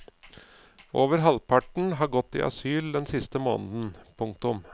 Over halvparten har gått i asyl den siste måneden. punktum